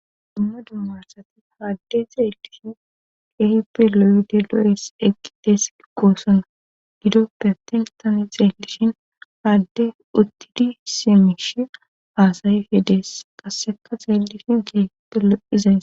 dumma dumma asati haadde xeelishin kehippe loyide lo7es eqidees gikkosona gidoppe tentane xeelishin haadde uttidi simishi haasayi fye dees qasseka xeellishin keehte loizays